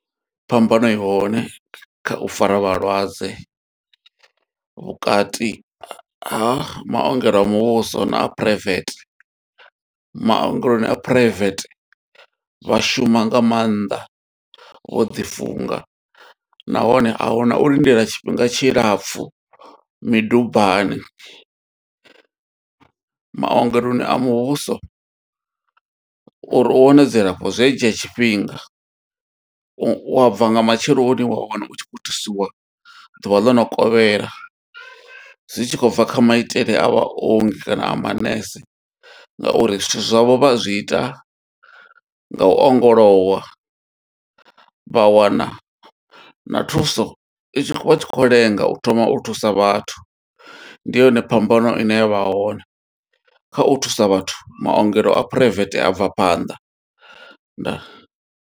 Phambano ihone kha u fara vhalwadze, vhukati ha maongelo a muvhuso na a private. Maongeloni a phuraivethe vha shuma nga maanḓa, vho ḓi funga. Nahone ahuna u lindela tshifhinga tshilapfu midubani. Maogeloni a muvhuso uri u wane dzilafho zwi a dzhia tshifhinga, u a bva nga matsheloni wa wana u tshi khou thusiwa ḓuvha ḽo no kovhela. Zwi tshi khou bva kha maitele a vha ongi kana a manese nga uri zwithu zwavho vha zwi ita nga u ongolowa. Vha wana na thuso i tshi khou lenga u thoma u thusa vhathu. Ndi yone phambano ine ya vha hone kha u thusa vhathu, maongelo a phuraivethe abva phanḓa. Ndaa.